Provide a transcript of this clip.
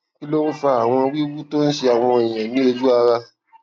kí ló ń fa àwọn wiwu tó ń ṣe àwọn èèyàn ní oju ara